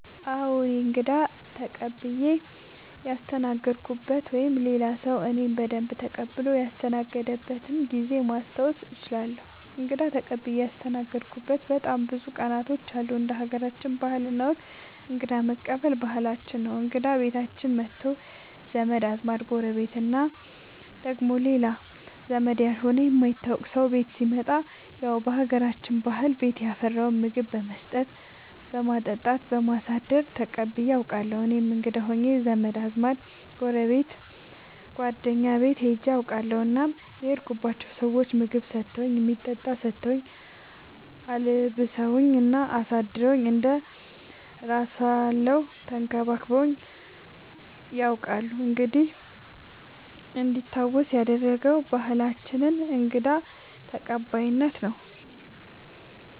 አዎ እኔ እንግዳ ተቀብየ ያስተናገድኩበት ወይም ሌላ ሰዉ እኔን በደንብ ተቀብሎ ያስተናገደበት ጊዜ ማስታወስ እችላለሁ። እንግዳ ተቀብዬ ያስተናገድሁበት በጣም ብዙ ቀናቶች አሉ እንደ ሀገራችን ባህል እና ወግ እንግዳ መቀበል ባህላችን ነው እንግዳ ቤታችን መቶ ዘመድ አዝማድ ጎረቤት እና ደግሞ ሌላ ዘመድ ያልሆነ የማይታወቅ ሰው ቤት ሲመጣ ያው በሀገራችን ባህል ቤት ያፈራውን ምግብ በመስጠት በማጠጣት በማሳደር ተቀብዬ አውቃለሁ። እኔም እንግዳ ሆኜ ዘመድ አዝማድ ጓደኛ ጎረቤት ቤት ሄጄ አውቃለሁ እናም የሄድኩባቸው ሰዎች ምግብ ሰተውኝ የሚጠጣ ሰተውኝ አልብሰውኝ እና አሳድረውኝ እንደ እራሳለው ተንከባክበውኝ ነያውቃሉ እንዲህ እንዲታወስ ያደረገ ባህላችንን እንግዳ ተቀባይነት ነው።